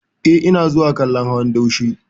Eh, ina zuwa kallon hawan daushe.